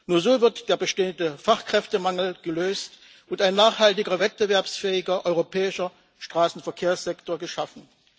Nur so wird der bestehende Fachkräftemangel gelöst und ein nachhaltiger wettbewerbsfähiger europäischer Straßenverkehrssektor geschaffen.